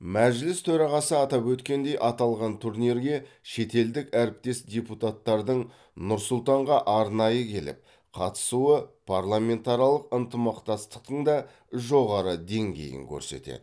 мәжіліс төрағасы атап өткендей аталған турнирге шетелдік әріптес депутаттардың нұр сұлтанға арнайы келіп қатысуы парламентаралық ынтымақтастықтың да жоғары деңгейін көрсетеді